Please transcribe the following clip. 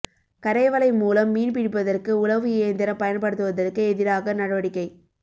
கரை வலை மூலம் மீன் பிடிப்பதற்கு உழவு இயந்திரம் பயன்படுத்துவதற்கு எதிராக நடவடிக்கை